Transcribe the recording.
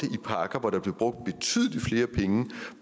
pakker hvor der blev brugt betydelig flere penge